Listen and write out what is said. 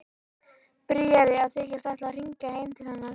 Bríarí að þykjast ætla að hringja heim til hennar.